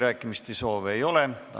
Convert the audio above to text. Rohkem kõnesoove ei ole.